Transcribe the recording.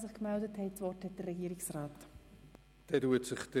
Das Wort hat Regierungsrat Käser.